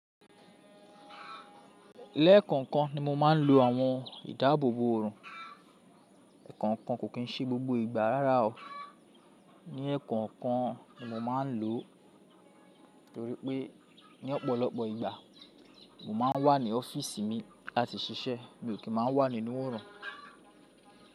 Lẹ́ẹ̀kọ̀ọ̀kan ni mo máa ń lo àwọn ìdáàbòbò ọ̀rùn. Ẹ̀kọ́ọ̀kan kò kín ṣe gbogbo ìgbà rárá o. Ní ẹ́ẹ̀kọ̀ọ̀kan ni mo máa ń lò torí pé ní ọ̀pọ̀lọpọ̀ ìgbà mo máa ń wà ní ọ́fíìsì mi láti ṣiṣẹ́, mi ò kí ń máa wà nínú ọ̀rùn.